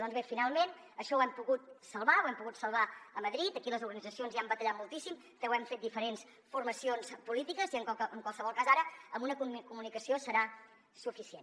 doncs bé finalment això ho hem pogut salvar ho hem pogut salvar a madrid aquí les organitzacions hi han batallat moltíssim que ho hem fet diferents formacions polítiques i en qualsevol cas ara amb una comunicació serà suficient